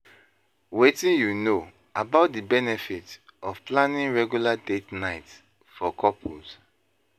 Wetin you know about di benefits of planning regular date nights for couples?